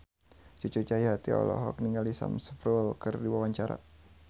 Cucu Cahyati olohok ningali Sam Spruell keur diwawancara